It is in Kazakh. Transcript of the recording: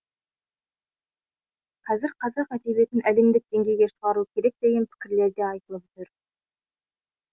қазір қазақ әдебиетін әлемдік деңгейге шығару керек деген пікірлер де айтылып жүр